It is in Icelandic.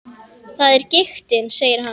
Það er giktin, segir hann.